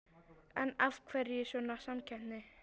En af hverju svona samkeppni?